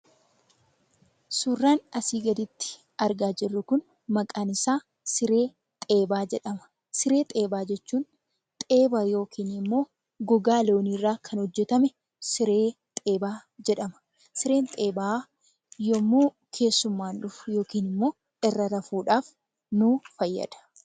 Suurran asii gaditti argaa jirru kun maqaan isaa siree xeebaa jedhama. Siree xeebaa jechuun xeeba yookin immoo gogaa looniirraa kan hojjetame siree xeebaa jedhama . Sireen xeebaa yemmuu keessummaan dhufu yookiin immoo irra rafuudhaaf nuu fayyada.